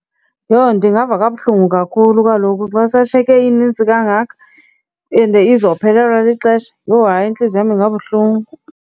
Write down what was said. Yho, ndingava kabuhlungu kakhulu kaloku xa seshiyeke inintsi kangaka and izophelelwa lixesha. Yho, hayi intliziyo yam ingabuhlungu.